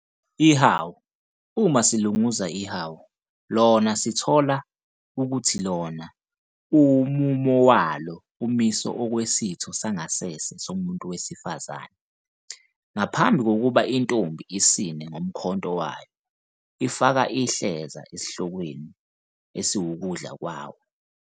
Ihawu- uma silunguza ihawu, Iona sithola ukuthi Iona umumo walo umise okwesitho sangasese somuntu wesifazane. Ngaphambi kokuba intombi isine ngomkhonto Iona, ifaka ihleza esihlokweni esiwukudla kwawo.